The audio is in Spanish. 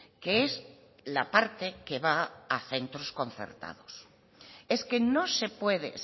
que es la parte que va centros concertados es que no se puede